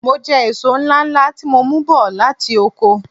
Mo jẹ èso ńláńlá tí mo mú bọ̀ láti oko.